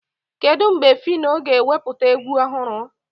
Kedụ mgbe Fino ga-ewepụta egwu ọhụrụ?